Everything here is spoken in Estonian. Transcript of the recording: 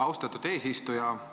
Austatud eesistuja!